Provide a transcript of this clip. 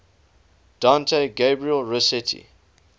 dante gabriel rossetti